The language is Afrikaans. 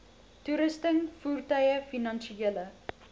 toerusting voertuie finansiële